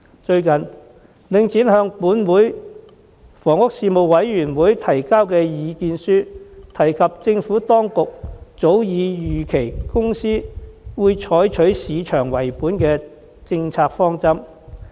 最近，領展向立法會房屋事務委員會提交意見書，提及政府當局早已預期該公司將採取市場為本的政策方針。